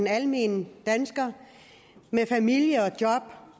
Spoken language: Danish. almindelige danskere med familie og job